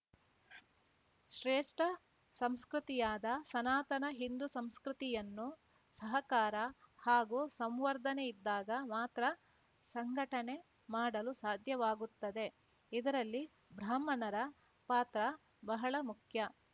ಶ್ರೇಷ್ಠ ಸಂಸ್ಕೃತಿಯಾದ ಸನಾತನ ಹಿಂದೂ ಸಂಸ್ಕೃತಿಯನ್ನು ಸಹಕಾರ ಹಾಗೂ ಸಂವರ್ಧನೆ ಇದ್ದಾಗ ಮಾತ್ರ ಸಂಘಟನೆ ಮಾಡಲು ಸಾಧ್ಯವಾಗುತ್ತದೆ ಇದರಲ್ಲಿ ಬ್ರಾಹ್ಮಣರ ಪಾತ್ರ ಬಹಳ ಮುಖ್ಯ